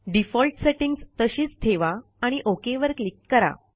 default settings तशीच ठेवा आणि ओक वर क्लिक करा